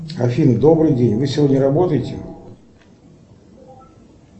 афина добрый день вы сегодня работаете